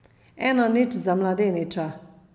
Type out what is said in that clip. Ena nič za mladeniča.